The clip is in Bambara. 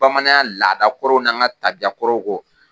Bamananya laadakɔrɔw n'an ka tabiyakɔrɔw kɔ